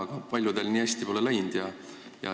Aga paljudel pole nii hästi läinud.